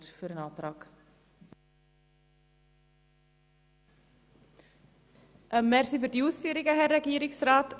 Vielen Dank für die Ausführungen, Herr Regierungsrat.